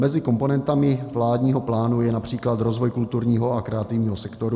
Mezi komponentami vládního plánu je například rozvoj kulturního a kreativního sektoru.